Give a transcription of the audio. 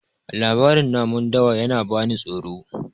labarin namun dawa yana bani tsoro